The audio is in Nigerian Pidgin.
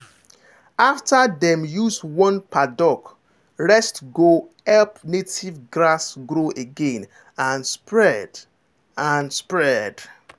after dem use one paddock rest go help native grass grow again and spread. and spread.